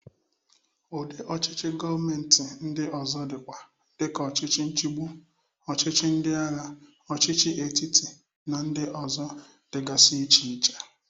Udị ọchịchị govmenti ndị ọzọ dịkwa dị ka ọchịchị nchigbụ, ọchịchị ndịagha, ọchịchị etiti, na ndị ọzọ dịgasi iche iche.